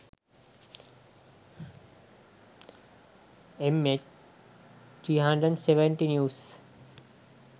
mh370 news